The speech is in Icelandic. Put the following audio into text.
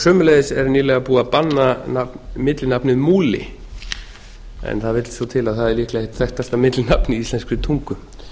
sömuleiðis er nýbúið að banna millinafnið múli en það vill svo til að það er líklega eitt þekktasta millinafn í íslenskri tungu